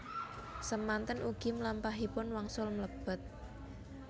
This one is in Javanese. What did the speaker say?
Semanten ugi mlampahipun wangsul mlebet